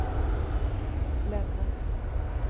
Länna